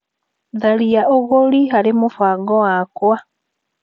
Tharia ũgũri harĩ mũbango wakwa .